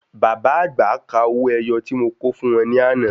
Bàbá àgbà kà owó ẹyọ tí mo kò fún wọn ní àná.